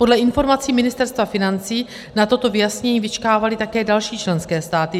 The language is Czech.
Podle informací Ministerstva financí na toto vyjasnění vyčkávaly také další členské státy.